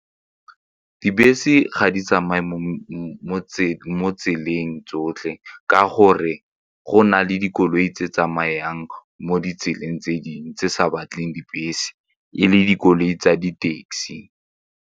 Dibese ga di tsamaye mo tseleng tsotlhe ka gore go na le dikoloi tse tsamayang mo ditseleng tse dingwe tse sa batlegeng dibese e le dikoloi tsa di-taxi.